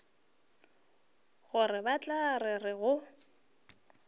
gore ba tla re go